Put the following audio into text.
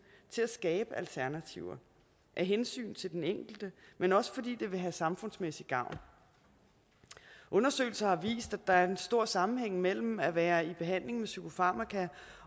til at skabe alternativer af hensyn til den enkelte men også fordi det vil have samfundsmæssig gavn undersøgelser har vist at der er en stor sammenhæng mellem at være i behandling med psykofarmaka